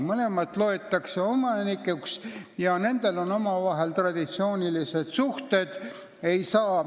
Mõlemad loetakse omanikuks ja nendel on omavahel traditsioonilised suhted.